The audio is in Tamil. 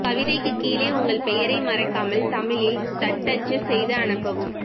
கவிதைக்குக் கீழே உங்கள் பெயரை மறக்காமல் தமிழில் தட்டச்சு செய்து அனுப்பவும்